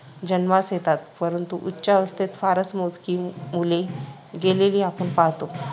जन्मास येतात, परंतु उच्चावस्थेत फारच मोजकी मुले गेलेली आपण पाहतो.